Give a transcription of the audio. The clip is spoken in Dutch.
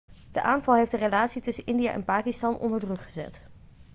de aanval heeft de relatie tussen india en pakistan onder druk gezet